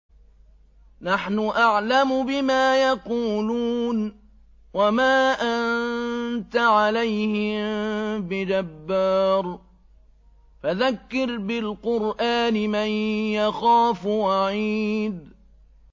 نَّحْنُ أَعْلَمُ بِمَا يَقُولُونَ ۖ وَمَا أَنتَ عَلَيْهِم بِجَبَّارٍ ۖ فَذَكِّرْ بِالْقُرْآنِ مَن يَخَافُ وَعِيدِ